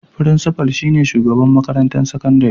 Frincifal shi ne shugaban makarantar sakandare.